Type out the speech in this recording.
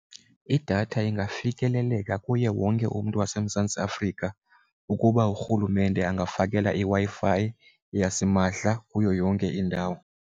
Idatha ingafikeleleka kuye wonke umntu waseMzantsi Afrika ukuba urhulumente ungafakela iWi-Fi yasimahla kuyo yonke indawo.